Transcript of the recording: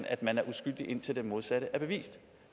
at man er uskyldig indtil det modsatte er bevist